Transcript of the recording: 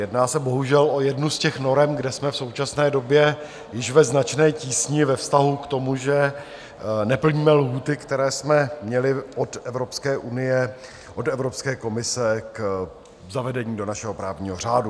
Jedná se bohužel o jednu z těch norem, kde jsme v současné době již ve značné tísni ve vztahu k tomu, že neplníme lhůty, které jsme měli od Evropské unie, od Evropské komise, k zavedení do našeho právního řádu.